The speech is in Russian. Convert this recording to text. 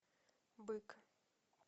бык